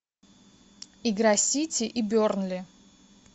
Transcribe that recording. игра сити и бернли